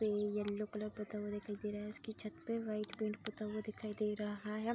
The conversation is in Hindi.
ये येलो कलर पूता हुआ दिखाई दे रहा है। इसकी छत पे वाइट कलर पूता हुआ दिखाई दे रहा है।